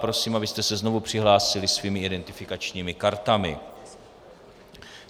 Prosím, abyste se znovu přihlásili svými identifikačními kartami.